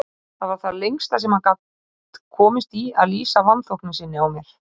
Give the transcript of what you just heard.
Það var það lengsta sem hann gat komist í að lýsa vanþóknun sinni á mér.